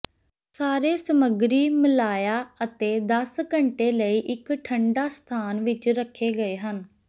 ਸਾਰੇ ਸਮੱਗਰੀ ਮਿਲਾਇਆ ਅਤੇ ਦਸ ਘੰਟੇ ਲਈ ਇੱਕ ਠੰਡਾ ਸਥਾਨ ਵਿੱਚ ਰੱਖੇ ਗਏ ਹਨ